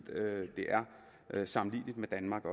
er sammenligneligt med danmark